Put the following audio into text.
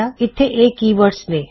ਇਥੇ ਇਹ ਕੀਵਰਡਜ ਨੇ